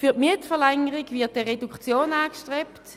Für die Mietverlängerung wird eine Reduktion angestrebt.